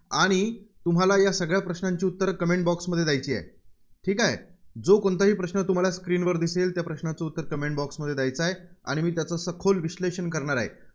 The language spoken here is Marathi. आणि तुम्हाला या सगळ्या प्रश्नांची उत्तरं comment box मध्ये द्यायची आहेत. ठीक आहे. जो कोणताही प्रश्न तुम्हाला screen वर दिसेल त्या प्रश्नाचं उत्तर comment box मध्ये द्यायचं आहे. आणि मी त्याचं सखोल विश्लेषण करणार आहे.